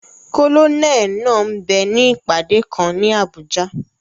Kólóníẹ̀ náà m bẹ ní ìpàdé kan ní Abùjá